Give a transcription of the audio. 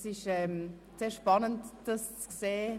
Es ist sehr spannend, dies zu sehen.